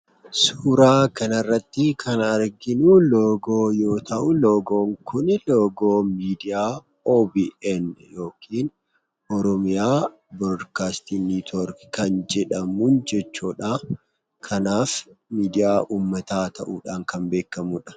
Suuraa kanarratti kan arginu loogoo yoo ta'u, loogoon kuni loogoo miidiyaa OBN yookiin Oromia Broadcasting Network kan jedhamudha. Kanaaf miidiyaa uummataa ta'uudhaan kan beekamudha.